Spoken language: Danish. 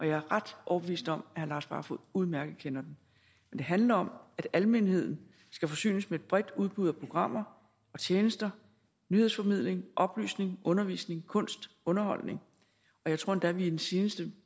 jeg er ret overbevist om herre lars barfoed udmærket kender den det handler om at almenheden skal forsynes med et bredt udbud af programmer og tjenester nyhedsformidling oplysning undervisning kunst og underholdning jeg tror endda at vi i den seneste